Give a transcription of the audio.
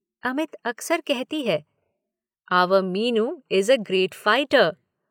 अमित अक्सर कहती है, our Meenu is a great fighter.